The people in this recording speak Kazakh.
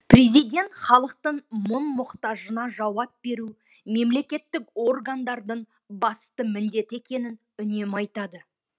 президент халықтың мұң мұқтажына жауап беру мемлекеттік органдардың басты міндеті екенін үнемі айтады